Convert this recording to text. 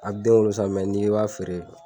A bɛ den wolo sa n'i i b'a feere